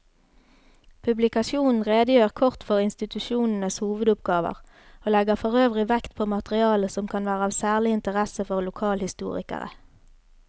Publikasjonen redegjør kort for institusjonenes hovedoppgaver og legger forøvrig vekt på materiale som kan være av særlig interesse for lokalhistorikere.